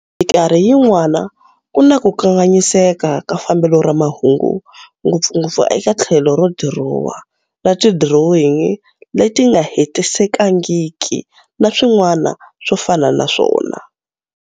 Mikarhi yin'wana ku na ku kanganyiseka ka fambelo ra mahungu, ngopfungopfu eka thlelo ro dirowa, na tidirowingi leti nga hetisekangiki na swin'wana swo fana na swona.